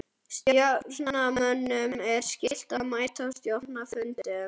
Stjórnarmönnum er skylt að mæta á stjórnarfundum.